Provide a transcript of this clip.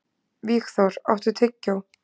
Vígþór, áttu tyggjó?